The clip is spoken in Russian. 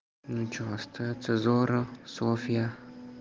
ну что остаться зора софья